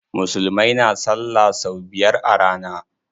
Musulmai na salla sau biyar a rana.